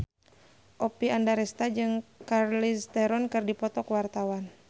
Oppie Andaresta jeung Charlize Theron keur dipoto ku wartawan